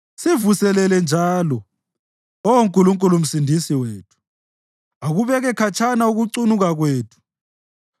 Sivuselele njalo, Oh Nkulunkulu Msindisi wethu, ukubeke khatshana ukukucunula kwethu.